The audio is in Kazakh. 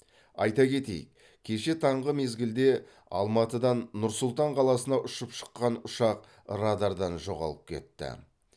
айта кетейік кеше таңғы мезгілде алматыдан нұр сұлтан қаласына ұшып шыққан ұшақ радардан жоғалып кетті